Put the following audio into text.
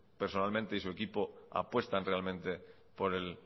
personalmente y su equipo apuestan realmente por el